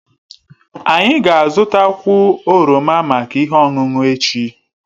Anyị ga-azụta kwụ oroma maka ihe ọṅụṅụ echi